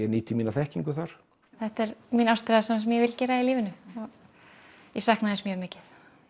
nýti mína þekkingu þar þetta er mín ástríða það sem ég vil gera í lífinu ég sakna þess mjög mikið